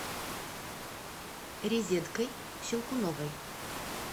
резедкой щелкуновой